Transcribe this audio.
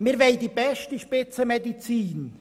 Wir wollen die beste Spitzenmedizin.